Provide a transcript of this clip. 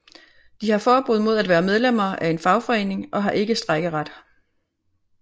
De har forbud mod at være medlemmer af en fagforening og har ikke strejkeret